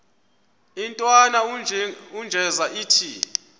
intwana unjeza ithi